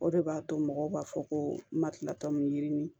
O de b'a to mɔgɔw b'a fɔ ko marifa min yirini